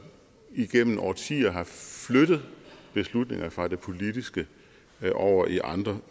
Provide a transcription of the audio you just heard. igennem årtier har flyttet beslutninger fra det politiske over i andre